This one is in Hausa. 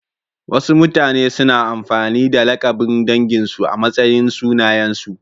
Wasu mutane suna amfani da lakabin danginsu a matsayin sunayensu.